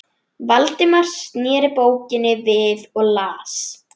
Valdimar sneri bókinni við og las